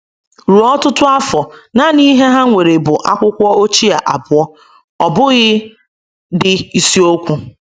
Ruo ọtụtụ afọ, nanị ihe ha nwere bụ akwụkwọ ochie abụọ — ọ bụghị dị ịsiokwu